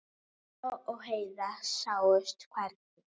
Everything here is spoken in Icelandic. Mamma og Heiða sáust hvergi.